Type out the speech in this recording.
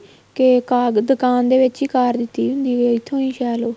ਕੇ ਦੁਕਾਨ ਦੇ ਵਿੱਚ ਹੀ ਕਾਰ ਦਿੱਤੀ ਹੁੰਦੀ ਏ ਇੱਥੋ ਹੀ ਸ਼ੈਅ ਲਓ